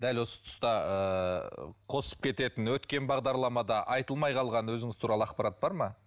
дәл осы тұста ыыы қосып кететін өткен бағдарламада айтылмай қалған өзіңіз туралы ақпарат бар ма